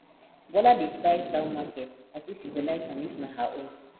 bola dey price down market as if she go like am if na her own